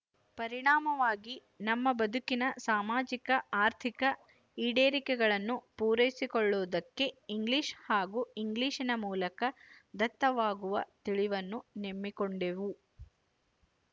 ಪರಿಣಾಮವಾಗಿ ನಮ್ಮ ಬದುಕಿನ ಸಾಮಾಜಿಕ ಆರ್ಥಿಕ ಈಡೇರಿಕೆಗಳನ್ನು ಪೂರೈಸಿಕೊಳ್ಳುವುದಕ್ಕೆ ಇಂಗ್ಲಿಶು ಹಾಗೂ ಇಂಗ್ಲಿಶಿನ ಮೂಲಕ ದತ್ತವಾಗುವ ತಿಳಿವನ್ನು ನೆಮ್ಮಿಕೊಂಡೆವು